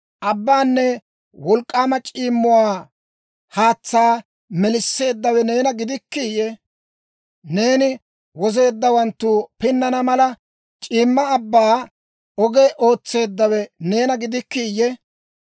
Abbaanne wolk'k'aama c'iimmuwaa haatsaa melisseeddawe neena gidikkiiyye? Neeni wozeeddawanttu pinnana mala, c'iimma abbaa oge ootseeddawe neena gidikkiiyye?